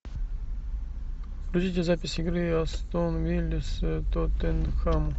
покажите запись игры астон вилла тоттенхэм